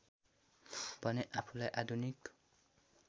भने आफूलाई आधुनिक